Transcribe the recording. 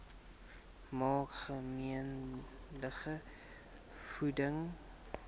maak gemengde voeding